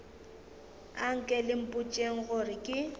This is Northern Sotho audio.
anke le mpotšeng gore ke